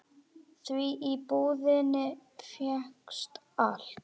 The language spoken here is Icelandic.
Því í búðinni fékkst allt.